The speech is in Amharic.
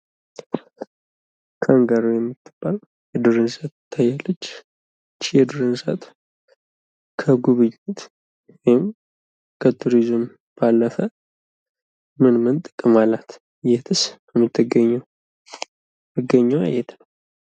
ካንጋሮ የምትባል የዱር እንስሳ ትታያለች። ይች የዱር እንስሳ ከዱር ባለፈ ምን ምን ጥቅም አላት? የትስ ትገኛለች? መገኘዋ የት ነው?